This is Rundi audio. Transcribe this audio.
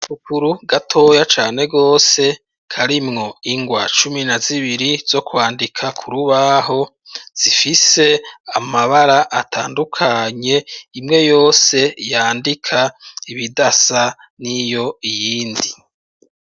Agapukuru gatoya cane gose karimwo ingwa cumi na zibiri zo kwandika kurubaho, zifise amabara atandukanye, imwe yose yandika ibidasa n'iyindi.